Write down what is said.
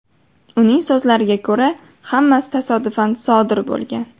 Uning so‘zlariga ko‘ra, hammasi tasodifan sodir bo‘lgan.